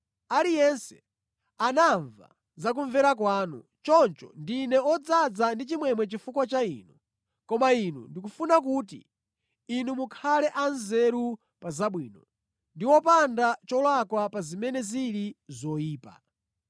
Aliyense anamva za kumvera kwanu, choncho ndine odzaza ndi chimwemwe chifukwa cha inu. Koma ine ndikufuna kuti inu mukhale anzeru pa zabwino, ndi wopanda cholakwa pa zimene zili zoyipa.